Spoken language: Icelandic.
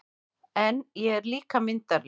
En ég er líka myndarlegur